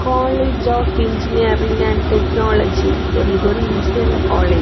College of engineering and technology ஒரு இது ஒரு இன்ஜினியரிங் காலேஜ் .